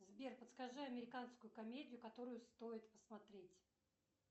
сбер подскажи американскую комедию которую стоит посмотреть